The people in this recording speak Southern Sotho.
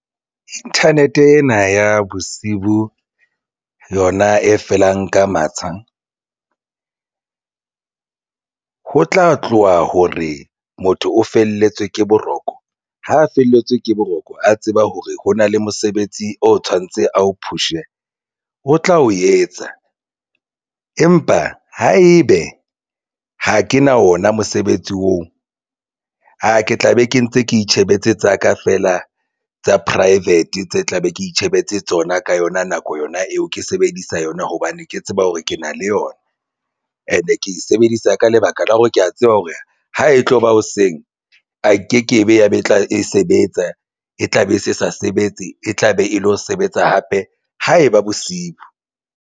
Internet ena ya bosibu yona e felang ka matsha ho tla tloha hore motho o felletswe ke boroko ha a felletswe ke boroko, a tseba hore ho na le mosebetsi o tshwanetse a o push-e o tla o etsa. Empa haebe ha ke na wona mosebetsi oo, a ke tla be ke ntse ke itjhebetse tsa ka feela tsa private tse tla be ke itjhebetse tsona ka yona nako yona eo ke sebedisa yona, hobane ke tseba hore ke na le yona and-e ke e sebedisa ka lebaka la hore ke ya tseba hore ha e tlo ba hoseng a ke ke be ya ba tla e sebetsa e tla be se sa sebetse e tla be e lo sebetsa hape ha eba bosiu.